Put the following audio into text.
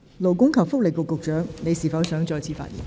勞工及福利局局長，你是否想再次發言？